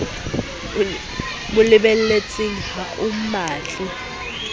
mo lebelletseng ha o mmatle